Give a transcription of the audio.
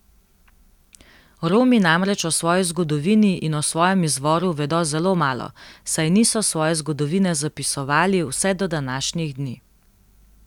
Romi namreč o svoji zgodovini in o svojem izvoru vedo zelo malo, saj niso svoje zgodovine zapisovali vse do današnjih dni.